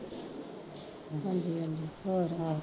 ਹਾਂਜੀ ਹਾਂਜੀ ਹੋਰ